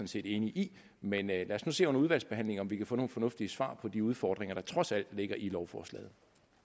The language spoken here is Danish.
set enige i men lad os nu se under udvalgsbehandlingen om vi kan få nogle fornuftige svar på de udfordringer der trods alt ligger i lovforslaget